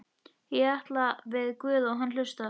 Ég tala við guð og hann hlustar.